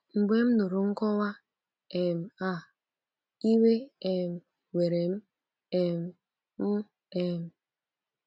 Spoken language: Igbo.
“ Mgbe m nụrụ nkọwa um a, iwe um were m um m um.